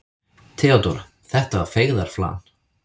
THEODÓRA: Þetta var feigðarflan.